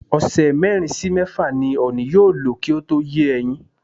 Ọ̀sẹ̀ mérin sí mẹ́fà ni ọ̀nì yóò lò kí ó tó yé ẹyin.